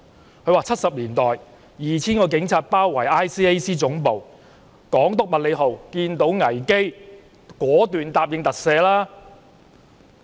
在1970年代 ，2,000 名警察包圍廉政公署總部，港督麥理浩看到危機，果斷答應特赦。